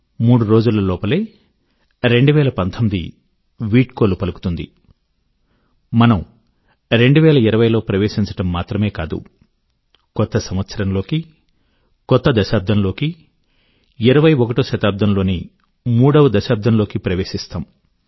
మూడు రోజుల లోపలే 2019 వీడ్కోలు పలుకుతుంది మనము 2020 లో ప్రవేశించడం మాత్రమే కాదు కొత్త సంవత్సరం లోకి కొత్త దశాబ్దంలోకి ఇరవై ఒకటో శతాబ్దం లోని మూడవ దశాబ్దం లోకి ప్రవేశిస్తాము